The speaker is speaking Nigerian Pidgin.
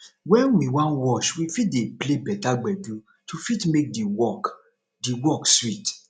when we wan wash we fit dey play better gbedu to fit make di work di work sweet